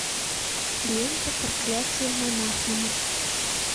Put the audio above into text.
лента проклятие монахини